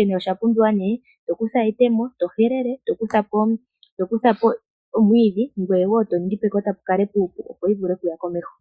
onke oshapumbiwa neh tokutha etemo tohelele tokuthapo omwiidhi ngweye wo toningi pekota opo yivule okuya komeho.